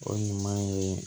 O ɲuman ye